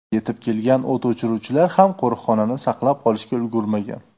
Yetib kelgan o‘t o‘chiruvchilar ham qo‘riqxonani saqlab qolishga ulgurmagan.